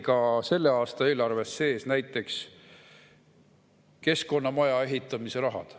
Ka selle aasta eelarves oli sees näiteks keskkonnamaja ehitamise raha.